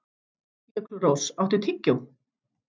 Jökulrós, áttu tyggjó?